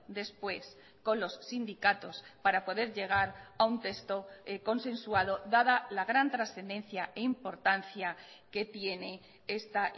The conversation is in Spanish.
después con los sindicatos para poder llegar a un texto consensuado dada la gran trascendencia e importancia que tiene esta